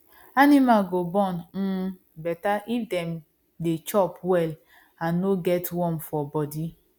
animal go born um better if dem dey chop well and no get worm for body